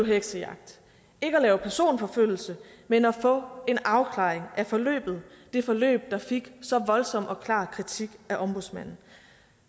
heksejagt ikke at lave personforfølgelse men at få en afklaring af forløbet det forløb der fik så voldsom og klar kritik af ombudsmanden